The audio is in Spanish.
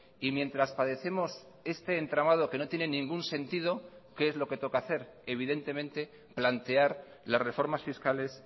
y mientras padecemos este entramado que no tiene ningún sentido qué es lo que toca hacer evidentemente plantear las reformas fiscales